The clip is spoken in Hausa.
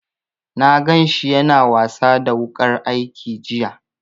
Na gan shi ya na wasa da wuƙar aiki jiya